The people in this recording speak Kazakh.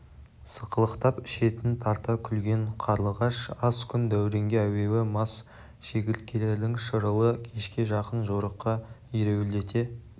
сықылықтап ішетін тарта күлген қарлығаш аз күн дәуренге әуейі мас шегірткелердің шырылы кешке жақын жорыққа ереуілдете